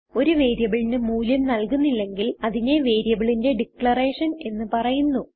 ഒരു വേരിയബിളിന് മൂല്യം നൽകുന്നില്ലെങ്കിൽ അതിനെ വേരിയബിളിന്റെ ഡിക്ലറേഷൻ എന്ന് പറയുന്നു